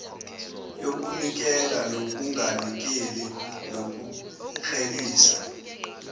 yokunikela nokunganikeli nokuklelisa